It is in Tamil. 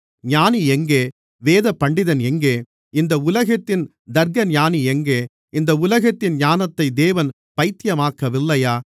ஞானி எங்கே வேதபண்டிதன் எங்கே இந்த உலகத்தின் தர்க்கஞானி எங்கே இந்த உலகத்தின் ஞானத்தை தேவன் பைத்தியமாக்கவில்லையா